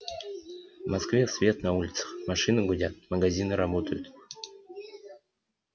в москве свет на улицах машины гудят магазины работают